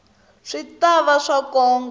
swi ta va swa nkoka